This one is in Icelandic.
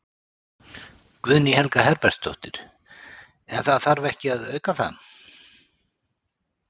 Guðný Helga Herbertsdóttir: En það þarf ekki að auka það?